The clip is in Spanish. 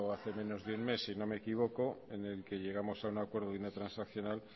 hace menos de un mes si no me equivoco en el que llegamos a un acuerdo en una transaccional